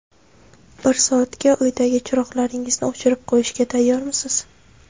Bir soatga uydagi chiroqlaringizni o‘chirib qo‘yishga tayyormisiz?